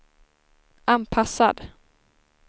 anpassad